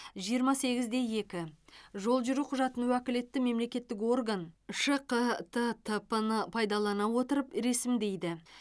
жиырма сегіз де екі жол жүру құжатын уәкілетті мемлекеттік орган шқт тп ны пайдалана отырып ресімдейді